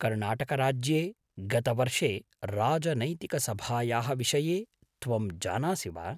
कर्णाटकराज्ये गतवर्षे राजनैतिकसभायाः विषये त्वं जानासि वा?